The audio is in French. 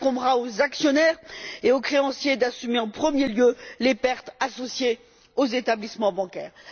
Il incombera aux actionnaires et aux créanciers d'assumer en premier lieu les pertes subies par les établissements bancaires.